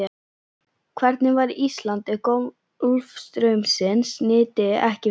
Hvernig væri Ísland ef golfstraumsins nyti ekki við?